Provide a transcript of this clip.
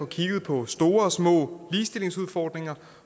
kigge på store og små ligestillingsudfordringer